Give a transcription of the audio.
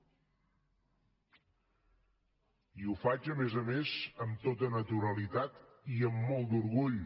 i ho faig a més a més amb tota naturalitat i amb molt d’orgull